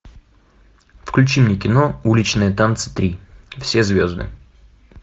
включи мне кино уличные танцы три все звезды